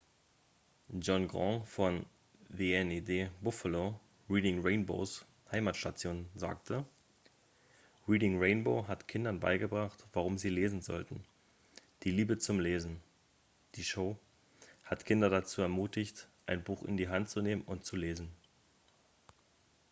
"john grant von wned buffalo reading rainbows heimatstation sagte: "reading rainbow hat kindern beigebracht warum sie lesen sollten ... die liebe zum lesen - [die show] hat kinder dazu ermutigt ein buch in die hand zu nehmen und zu lesen.""